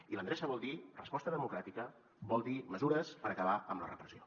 i l’endreça vol dir resposta democràtica vol dir mesures per acabar amb la repressió